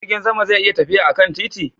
Jirgin sama zai iya tafiya akan titi?